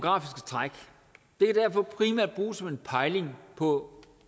derfor primært bruges som en pejling på